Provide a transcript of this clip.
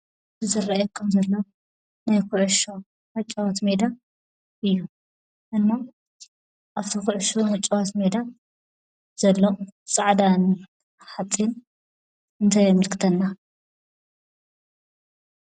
እዚ ዝርአየኩም ዘሎ ናይ ኩዕሾ መጫወቲ ሜዳ እዩ፡፡ እሞ ኣብቲ ኩዕሾ መጫወቲ ሜዳ ዘሎ ፃዕዳ ሓፂን እንታይ የመልክተና?